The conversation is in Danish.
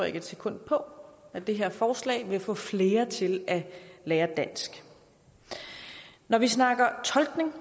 ikke et sekund på at det her forslag ville få flere til at lære dansk når vi snakker tolkning